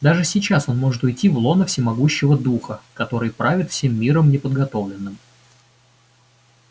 даже сейчас он может уйти в лоно всемогущего духа который правит всем миром неподготовленным